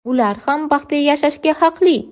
Ular ham baxtli yashashga haqli.